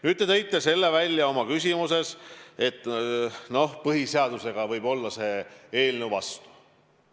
Nüüd, te tõite oma küsimuses välja, et see eelnõu võib olla põhiseadusega vastuolus.